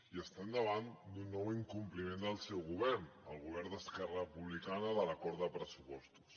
i estem davant d’un nou incompliment del seu govern el govern d’esquerra republicana de l’acord de pressupostos